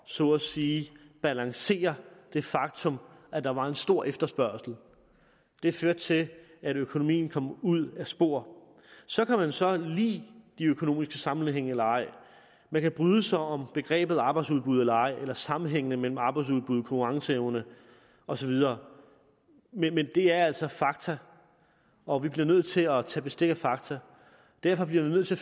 så at sige at balancere det faktum at der var en stor efterspørgsel det førte til at økonomien kom ud af spor så kan man så lide de økonomiske sammenhænge eller ej man kan bryde sig om begrebet arbejdsudbud eller ej eller sammenhængen mellem arbejdsudbud og konkurrenceevne osv men det er altså fakta og vi bliver nødt til at tage bestik af fakta derfor bliver vi nødt til